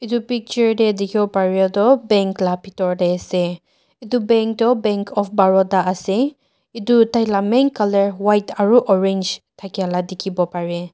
etu picture te dekhi bo para ta bank laga bithor te ase etu bank toh bank of baroda ase etu tai laga main colour white aru orange thaki laga dekhi bo pare.